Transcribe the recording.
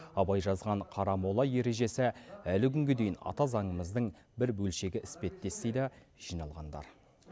абай жазған қарамола ережесі әлі күнге дейін ата заңымыздың бір бөлшегі іспеттес дейді жиналғандар